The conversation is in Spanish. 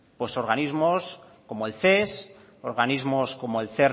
pues organismos como el ces organismos como el